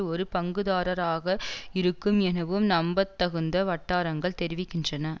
ஒரு பங்குதாரராக இருக்கும் எனவும் நம்பத்தகுந்த வட்டாரங்கள் தெரிவிக்கின்றன